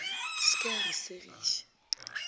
se ke a re segiša